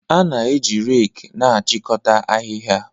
A na-eji reki na-achịkọta ahịhịa